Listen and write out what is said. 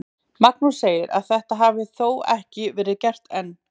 Magnús segir að þetta hafi þó ekki verið gert enn.